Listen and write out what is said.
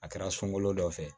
A kɛra sunkalo dɔ fɛ